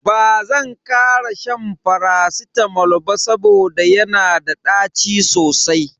Bazan kara shan faracitamol ba saboda yana da ɗaci sosai.